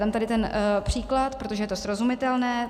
Dám tady ten příklad, protože je to srozumitelné.